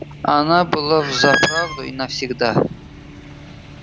она была взаправду и навсегда